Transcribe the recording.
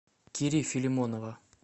кири филимонова